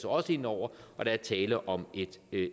også ind over der er tale om